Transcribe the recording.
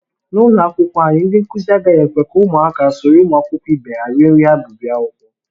N'ụlọakwụkwọ anyị, ndị nkụzi agaghị ekwe ka ụmụaka soro ụmụakwụkwọ ihe ha rie nri ha bu bịa akwụkwọ